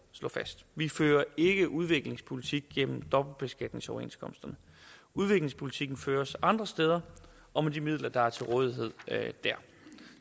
slå fast vi fører ikke udviklingspolitik gennem dobbeltbeskatningsoverenskomsterne udviklingspolitikken føres andre steder og med de midler der er til rådighed der